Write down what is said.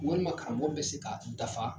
Walima karamɔgɔ bɛ se ka dafa